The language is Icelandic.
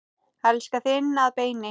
Elska þig inn að beini.